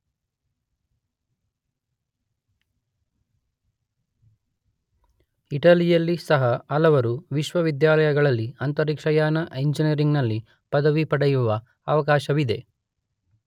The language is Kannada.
ಇಟಲಿಯಲ್ಲೂ ಸಹ ಹಲವರು ವಿಶ್ವವಿದ್ಯಾಲಯಗಳಲ್ಲಿ ಅಂತರಿಕ್ಷಯಾನ ಇಂಜಿನಿಯರಿಂಗ್ ನಲ್ಲಿ ಪದವಿ ಪಡೆಯುವ ಅವಕಾಶವಿದೆ.